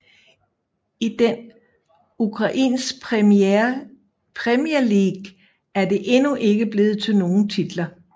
I den Ukrainsk Premier League er det endnu ikke blevet til nogen titler